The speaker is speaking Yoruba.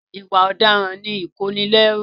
Ìwà ọ̀daràn ni ìkónilẹ́rù.